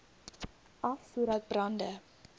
af sodat brande